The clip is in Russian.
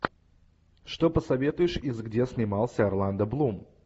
что посоветуешь из где снимался орландо блум